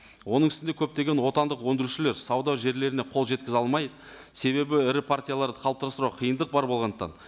оның үстінде көптеген отандық өндірушілер сауда жерлеріне қол жеткізе алмай себебі ірі партияларды қалыптастыруға қиындық бар болғандықтан